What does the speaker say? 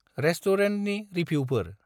रेस्टुरेन्टनि रिभिउफोर।